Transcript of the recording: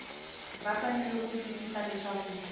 va fanele ku twisisa leswaku